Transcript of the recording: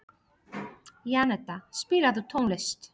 Janetta, spilaðu tónlist.